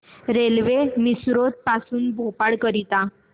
railway Misrod पासून भोपाळ करीता